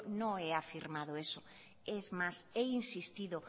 no he afirmado eso es más he insistido